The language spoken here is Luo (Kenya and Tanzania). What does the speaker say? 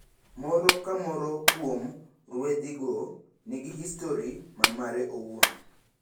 Moro kamoro kuom ruedhigo nigi histori ma mare owuon.